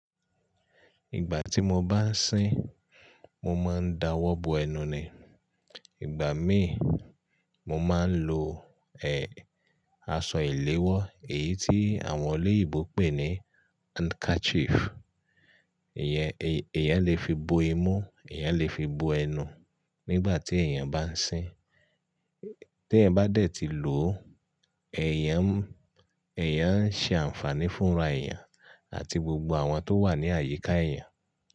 Ìgbà tí mo bá ń sín, mo máa ń dawọ́ bo ẹnu ni. Ìgbà míì, mo máa ń lo, ẹ, aṣọ ìléwọ́ èyí tí àwọn oloyinbo pè ní handkerchief. Èèyàn le fi bo imú, ẹ̀eyan le fi bo ẹnu nígbà tí èèyàn bá ń sín. Tí ẹ̀eyan bá dẹ̀ ti lò ó, ẹ̀eyan n, ẹ̀eyan ń ṣe àǹfààní fún ra ẹ̀eyàn àti gbogbo àwọn tó wà ní àyíká eẹ̀yàn.